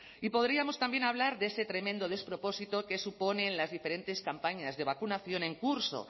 y podríamos también hablar de ese tremendo despropósito que suponen las diferentes campañas de vacunación en curso